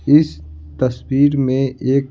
इस तस्वीर में एक--